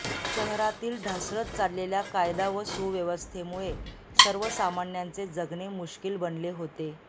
शहरातील ढासळत चाललेल्या कायदा व सुव्यवस्थेमुळे सर्वसामान्यांचे जगणे मुश्कील बनले होते